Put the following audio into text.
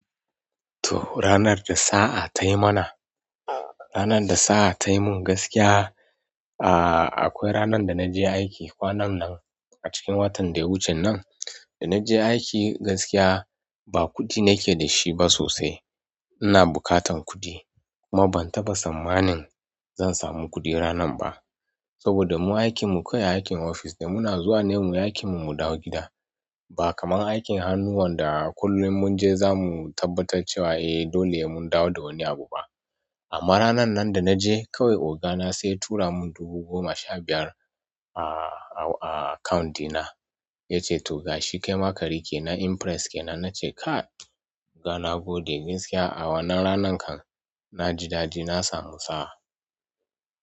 Toh ranar da sa'a ta yi mana, ranar da sa'a ta yi min gaskiya, aa akwai ranar da na je aiki kwanan nan a cikin watan da ya wuce nan. Da na je aiki gaskiya ba kuɗi nake da shi ba sosai. Ina buƙatan kuɗi kuma bantaba tsanmanin zansamu kuɗi ranan ba saboda mu aikin mu kawai aikin office ne muna zuwa ne muyi aikin mu mudawo gida ba kaman aikin hannu wanda kullum mun je za mu tabbatar cewa eh dole mun dawo da wani abu ba. Amma ranan nan da na je kawai ogana sai ya tura mun dubu goma sha biyar a, a account ɗina. Ya ce to ga shi kaima riƙe na impress kenan. Na ce ka oga nagode gaskiya a wannan ranan kan na ji daɗi na samu sa'a.